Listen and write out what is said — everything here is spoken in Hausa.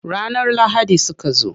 Ranar lahadi suka zo.